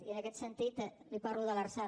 i en aquest sentit li parlo de l’lrsal